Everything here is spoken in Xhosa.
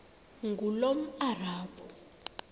ngulomarabu